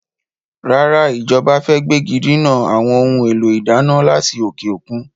Rárá, Ìjọba fẹ gbégidinà àwọn ohun èlò ìdáná láti òkè òkun.